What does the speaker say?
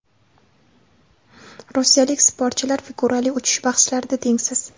Rossiyalik sportchilar figurali uchish bahslarida tengsiz.